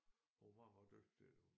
Hun var meget meget dygtig til det